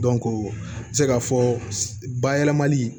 n bɛ se k'a fɔ bayɛlɛmali